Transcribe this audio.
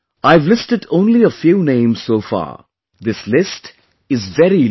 I have listed only a few names so far; this list is very long